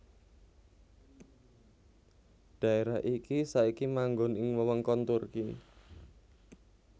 Dhaérah iki saiki manggon ing wewengkon Turki